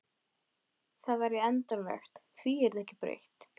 Verkamenn með ómegð og lasnar eiginkonur.